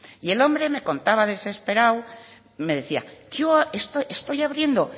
el hombre me contaba desesperado me decía yo estoy abriendo